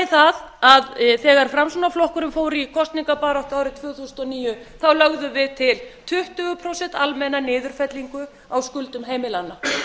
það að þegar framsóknarflokkurinn fór í kosningabaráttu árið tvö þúsund og níu lögðum við til tuttugu prósent almenna niðurfellingu á skuldum heimilanna